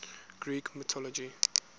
greek mythology